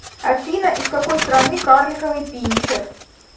афина из какой страны карликовый пинчер